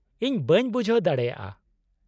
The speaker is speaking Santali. - ᱤᱧ ᱵᱟᱝ ᱵᱩᱡᱷᱟᱣ ᱫᱟᱲᱮᱭᱟᱜᱼᱟ ᱾